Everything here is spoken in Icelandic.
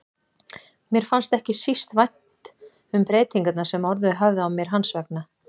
Mér fannst ekki síst vænt um breytingarnar sem orðið höfðu á mér hans vegna.